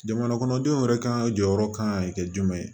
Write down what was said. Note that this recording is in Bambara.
Jamana kɔnɔdenw yɛrɛ ka jɔyɔrɔ kan ka kɛ jumɛn ye